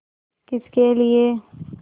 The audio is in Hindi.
किसके लिए